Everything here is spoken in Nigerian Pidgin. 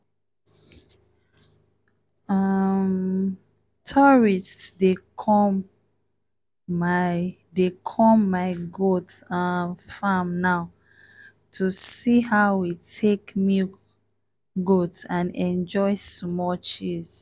um tourists dey come my dey come my goat um farm now to see how we take milk goat and enjoy small cheese